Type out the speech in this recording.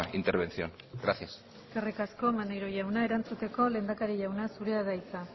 intervención gracias eskerrik asko maneiro jauna erantzuteko lehendakari jauna zurea da hitza